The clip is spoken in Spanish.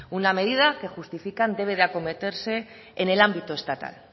una medida que justifican debe a cometerse en el ámbito estatal